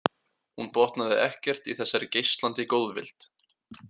Hún botnaði ekkert í þessari geislandi góðvild.